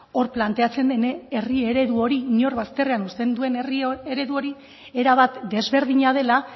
hor planteatzen den herri eredu hori inor bazterrean uzten duen herri eredu hori era bat desberdina dela